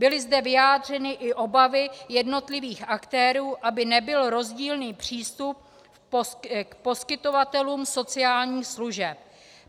Byly zde vyjádřeny i obavy jednotlivých aktérů, aby nebyl rozdílný přístup k poskytovatelům sociálních služeb.